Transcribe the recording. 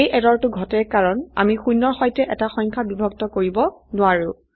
এই এৰৰটো ঘটে কাৰন আমি শূন্যৰ সৈতে এটা সংখ্যা বিভক্ত কৰিব নোৱাৰো